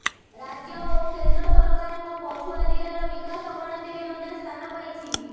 ରାଜ୍ୟ ଓ କେନ୍ଦ୍ର ସରକାରଙ୍କ ପଛୁଆ ଜିଲ୍ଳାର ବିକାଶ ଗଣତିରେ ମଧ୍ୟ ସ୍ଥାନ ପାଇଛି